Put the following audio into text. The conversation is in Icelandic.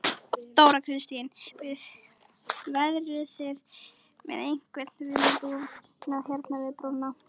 Þóra Kristín: Verðið þið með einhvern viðbúnað hérna við brúna?